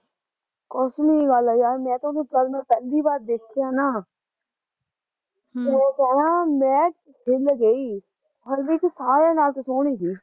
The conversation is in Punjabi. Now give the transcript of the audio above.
ਕਸਮੀ ਗੱਲ ਐ ਯਾਰ ਮੈਂ ਤਾਂ ਉਹਨੂੰ ਜਦ ਮੈਂ ਪਹਿਲੀ ਵਾਰ ਦੇਖਿਆ ਨਾ ਹਮ ਤੈ ਕਹਿਣਾ ਮੈਂ ਹਿੱਲ ਗਈ ਹਰਮੀਤ ਸਾਰਿਆ ਨਾਲ਼ ਤੇ ਸੋਹਣੀ ਤੀ